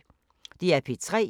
DR P3